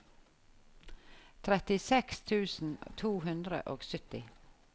trettiseks tusen to hundre og sytti